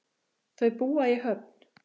Þau búa á Höfn.